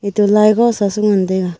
etoh lai ba se ngan tai ga.